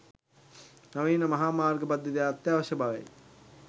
නවීන මහා මාර්ග පද්ධතියක් අත්‍යවශ්‍ය බවයි